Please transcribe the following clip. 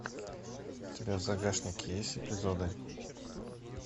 у тебя в загашнике есть эпизоды